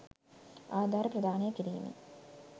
ආධාර ප්‍රදානය කිරීම